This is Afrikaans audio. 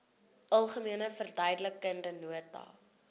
algemene verduidelikende nota